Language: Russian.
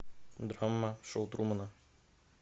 драма шоу трумана